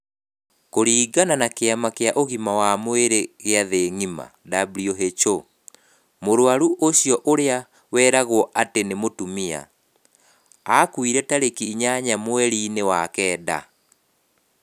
Kũringana na Kĩama kĩa Ũgima wa Mwĩrĩ gĩa Thĩ ngima (WHO), mũrũaru ũcio ũrĩa weragwo atĩ nĩ mũtumia, aakuire tarĩki inyanya mweri-inĩ wa Kenda.